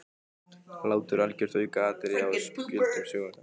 Hlátur algjört aukaatriði á spjöldum sögunnar.